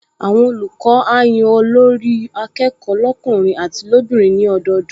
Àwọn olùkọ́ á yan Olórí-akẹ́kọ̀ọ́ lọ́kùnrin àti lóbìnrin ní ọdọọdún